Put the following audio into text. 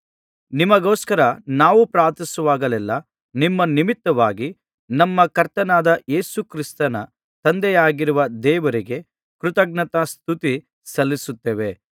ನಿಮಗೋಸ್ಕರ ನಾವು ಪ್ರಾರ್ಥಿಸುವಾಗಲೆಲ್ಲಾ ನಿಮ್ಮ ನಿಮಿತ್ತವಾಗಿ ನಮ್ಮ ಕರ್ತನಾದ ಯೇಸು ಕ್ರಿಸ್ತನ ತಂದೆಯಾಗಿರುವ ದೇವರಿಗೆ ಕೃತಜ್ಞತಾಸ್ತುತಿ ಸಲ್ಲಿಸುತ್ತೇವೆ